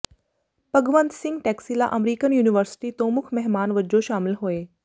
Bhagwant Singh Taxila American university ਤੋਂ ਮੁੱਖ ਮਹਿਮਾਨ ਵਜੋਂ ਸ਼ਾਮਲ ਹੋਏ